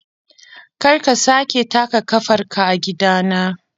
Kar ka sake taka kafarka a gidana!